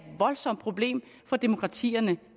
voldsomt problem for demokratierne